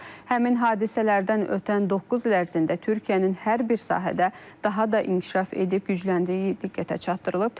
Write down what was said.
Həmin hadisələrdən ötən doqquz il ərzində Türkiyənin hər bir sahədə daha da inkişaf edib gücləndiyi diqqətə çatdırılıb.